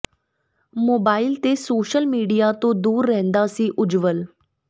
mobile ਤੇ social media ਤੋਂ ਦੂਰ ਰਹਿੰਦਾ ਸੀ ਉਜਵੱਲ